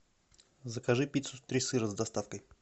закажи пиццу три сыра с доставкой